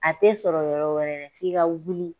A tɛ sɔrɔ yɔrɔ wɛrɛ dɛ f'i ka wuli